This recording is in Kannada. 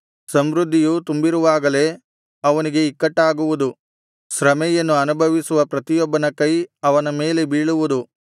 ಸಮೃದ್ಧಿಯು ತುಂಬಿರುವಾಗಲೇ ಅವನಿಗೆ ಇಕ್ಕಟ್ಟಾಗುವುದು ಶ್ರಮೆಯನ್ನು ಅನುಭವಿಸುವ ಪ್ರತಿಯೊಬ್ಬನ ಕೈ ಅವನ ಮೇಲೆ ಬೀಳುವುದು